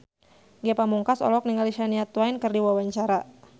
Ge Pamungkas olohok ningali Shania Twain keur diwawancara